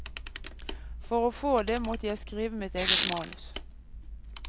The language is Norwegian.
For å få det måtte jeg skrive mitt eget manus.